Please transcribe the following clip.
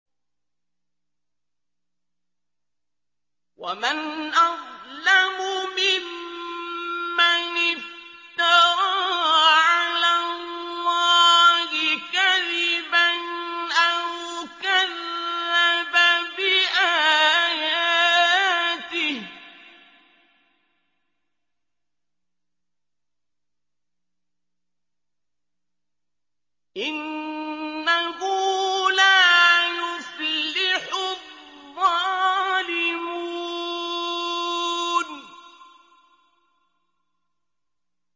وَمَنْ أَظْلَمُ مِمَّنِ افْتَرَىٰ عَلَى اللَّهِ كَذِبًا أَوْ كَذَّبَ بِآيَاتِهِ ۗ إِنَّهُ لَا يُفْلِحُ الظَّالِمُونَ